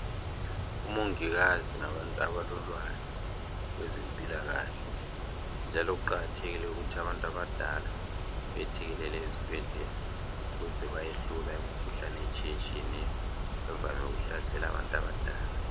Omongikazi ngabantu abalolwazi ngokwezempilakahle njalo kuqakathekile ukuthi abantu abadala bethekelele ezibhedlela ukuze bayehlolwa imikhuhlane etshiyetshiyeneyo evame ukuhlasela abantu abadala